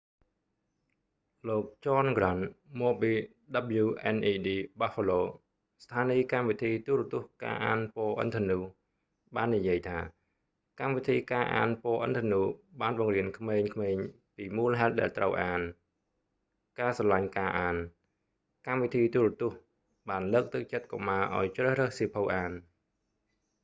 លោក ចន ហ្គ្រាន់ john grant មកពី wned buffalo ស្ថានីយ​កម្មវិធី​ទូរទស្សន៍​ការអាន​ពណ៌​ឥន្ធនូ reading rainbow បាននិយាយថា កម្មវិធី​ការអាន​ពណ៌​ឥន្ធនូ បាន​បង្រៀន​ក្មេងៗពីមូលហេតុ​ដែល​ត្រូវ​អាន...ការស្រឡាញ់​ការអាន— [កម្មវិធី​ទូរទស្សន៍] បានលើកទឹកចិត្តកុមារ​ឱ្យ​ជ្រើសរើស​សៀវភៅ​អាន ។